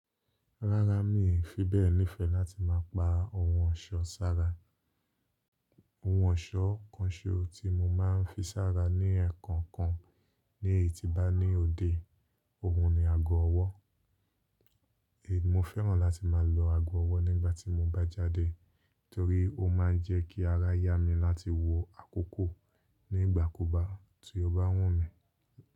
Rárá mi fi bẹ́ẹ̀ nífẹ̀ẹ́ láti máa pa ohun ọ̀ṣọ́ sára. Ohun ọ̀ṣọ́ kan ṣo tí mo máa ń fi sára ní ẹ̀ẹ̀kànkan ní èyí tí bá ní òde, òun ni ago ọwọ́. È mi mo fẹ́ràn láti máa lo ago ọwọ́ nígbà tí mo bá jáde torí ó máa ń jẹ́ kí ara yá mi láti wọ àkóko. Nígbà ku bá tì ọ̀ bá wun mí.